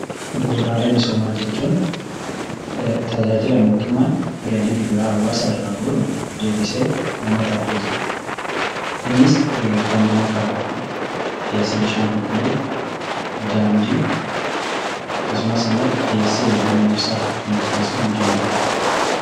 Tajaajila bu'uuraa jechuun tajaajila mootummaan galii gibiraa hawwaasa irraa guuruun deebisee uummataaf dhiyeessuudhaaf. Innis kan akka dhiyeessii bishaan qulqulluu, daandii fi dhiyeessii humna ibsaa akka fakkeenyaatti kaasuun ni danda’ama.